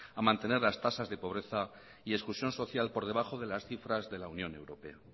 a mantener las tasas de pobreza y exclusión social por debajo de las cifras de la unión europea